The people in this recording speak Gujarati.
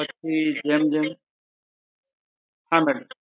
પછી જેમ જેમ હા madam